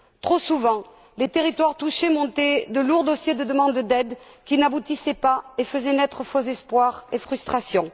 Trop souvent, les territoires touchés montaient de lourds dossiers de demande d'aide qui n'aboutissaient pas et faisaient naître de faux espoirs et des frustrations.